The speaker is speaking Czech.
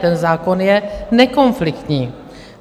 Ten zákon je nekonfliktní.